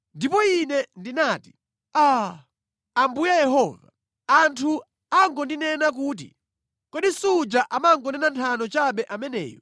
Ndipo ine ndinati, “Aa, Ambuye Yehova! Anthu akungondinena kuti, ‘Kodi suja amangonena nthano chabe ameneyu!’ ”